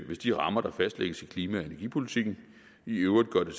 hvis de rammer der fastlægges i klima og energipolitikken i øvrigt gør det